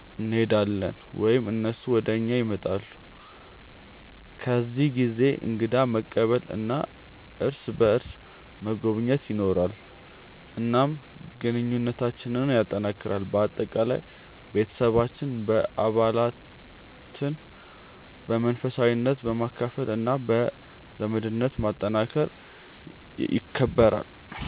እንሄዳለን ወይም እነሱ ወደ እኛ ይመጣሉ። በዚህ ጊዜ እንግዳ መቀበል እና እርስ በርስ መጎብኘት ይኖራል፣ እናም ግንኙነታችንን ያጠናክራል። በአጠቃላይ፣ ቤተሰባችን በዓላትን በመንፈሳዊነት፣ በመካፈል እና በዘመድነት ማጠናከር ይከብራል።